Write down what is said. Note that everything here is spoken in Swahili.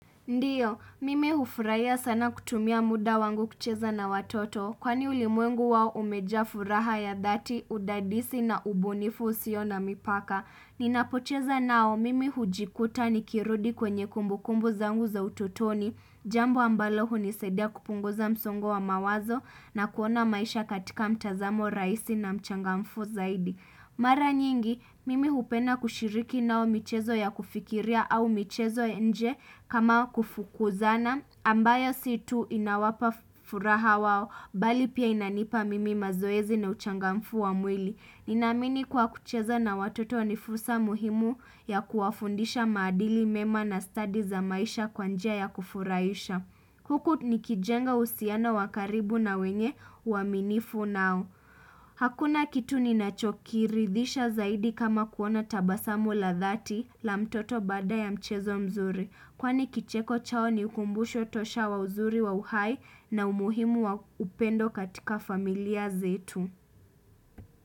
Ndiyo, mimi hufurahia sana kutumia muda wangu kucheza na watoto, kwani ulimwengu wao umejaa furaha ya dhati, udadisi na ubunifu usio na mipaka. Ninapocheza nao, mimi hujikuta nikirudi kwenye kumbukumbu zangu za utotoni, jambo ambalo hunisaidia kupunguza msongo wa mawazo na kuona maisha katika mtazamo rahisi na mchangamfu zaidi. Mara nyingi, mimi hupenda kushiriki nao michezo ya kufikiria au michezo ya nje kama kufukuzana, ambayo si tu inawapa furaha wao, bali pia inanipa mimi mazoezi na uchangamfu wa mwili. Ninaamini kuwa kucheza na watoto ni fursa muhimu ya kuwafundisha maadili mema na study za maisha kwa njia ya kufurahisha. Huku nikijenga uhusiano wa karibu na wenye uaminifu nao. Hakuna kitu ninachokiridhisha zaidi kama kuona tabasamu la dhati la mtoto baada ya mchezo mzuri. Kwani kicheko chao ni kumbusho tosha wa uzuri wa uhai na umuhimu wa upendo katika familia zetu.